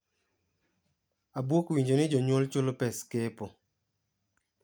"Abuok winjo ni jonyuol chulo pes kepo.